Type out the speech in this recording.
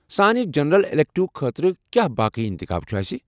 سانہِ general elective خٲطرٕ کیٚا باقی انتخاب چُھ اسہِ ؟